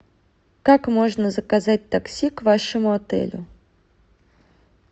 как можно заказать такси к вашему отелю